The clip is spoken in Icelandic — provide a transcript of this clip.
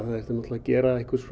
að gera